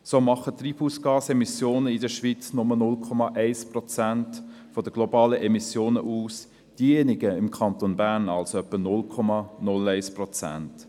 So machen die Treibhausgasemissionen der Schweiz nur 0,1 Prozent der globalen Emissionen aus, diejenigen des Kantons Bern somit etwa 0,01 Prozent.